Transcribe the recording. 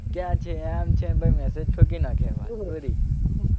કયા છે આમ છે ને ભાઈ મેસેજ ઠોકી નાખે એટલે વાત પૂરી.